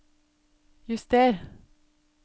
juster